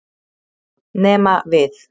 Nema við!